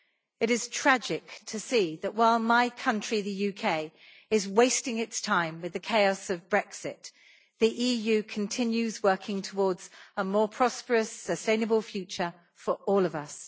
It is tragic to see my country, the UK, wasting its time with the chaos of Brexit while the EU continues to work towards a more prosperous sustainable future for all of us.